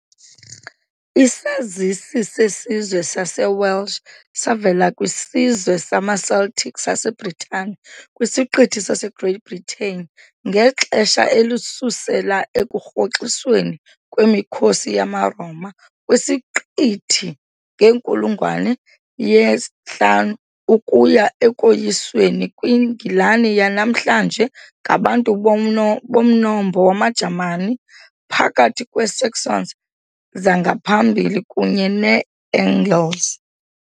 Isazisi sesizwe saseWelsh savela kwisizwe samaCeltic saseBritane kwisiqithi saseGreat Britain ngexesha elisusela ekurhoxisweni kwemikhosi yamaRoma kwisiqithi ngenkulungwane ye-5 ukuya ekoyisweni kweNgilani yanamhlanje ngabantu bomno bomnombo wamaJamani phakathi kweeSaxons zangaphambili kunye neeAngles.